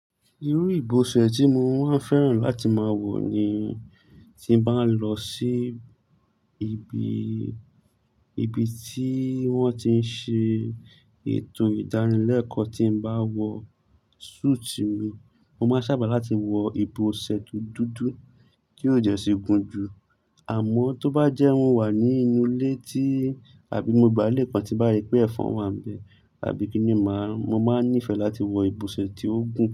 Irú ìbọ̀ṣẹ̀ tí mo máa ń fẹ́ràn láti máa wọ̀ ni tí bá lọ sí ibi, ibi tí wón ti ń ṣe ètò ìdárínlẹ́kọ̀ọ́, tí bá wọ súùtì mi, mo máa sábà láti wọ ìbọ̀ṣẹ̀ dúdú dúdú kí ó dẹ̀ sí gùn jù. Àmọ́ tó bá jẹ́ mọ wà ní inú ilé tí àbí mo gbá lè kan tí bá rí pé ẹ̀fọn wà ní ibẹ̀ àbí kíni màá, mo máa nífẹ̀ẹ́ láti wọ ìbọ̀ṣẹ̀ tí ó gùn.